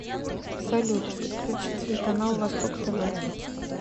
салют подключи телеканал восток тв